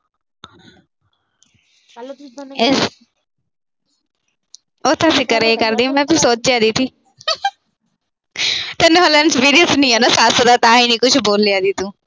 ਉਹ ਤਾਂ ਕਰਿਆ ਕਰਦੀ, ਮੈਂ ਕੁਛ ਸੋਚਿਆ ਨੀ ਸੀ। ਤੈਨੂੰ ਹਾਲੇ ਐਕਸਪੀਰੀਂਅਸ ਨੀ ਆ ਨਾ ਸੱਸ ਦਾ, ਤਾਂ ਹੀ ਨੀ ਕੁਛ ਬੋਲਿਆ ਤੂੰ।